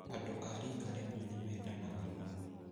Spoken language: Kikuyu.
Andũ a rika rĩmwe ni mendanaga mũno